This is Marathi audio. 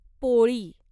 पोळी